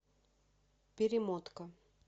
перемотка